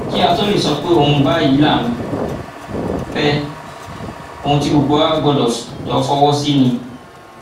kí á tóó lè sọ pé ohun báyìí là ń fẹ ohun tí gbogbo wa gbọdọ jọ fọwọ sí ni